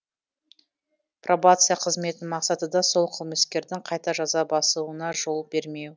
пробация қызметінің мақсаты да сол қылмыскердің қайта жаза басуына жол бермеу